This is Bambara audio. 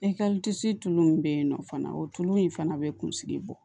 E ka tulu min bɛ yen nɔ fana o tulu in fana bɛ kunsigi bɔ